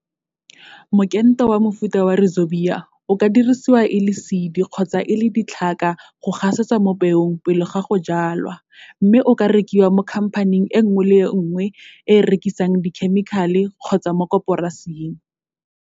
Mokento wa mofuta wa Rhizobia o ka dirisiwa e le seedi kgotsa e le ditlhaka go gasetswa mo peong pele ga go jwalwa mme o ka rekiwa mo khamphaning e nngwe le e nngwe e e rekisang dikhemikale kgotsa mo koporasing.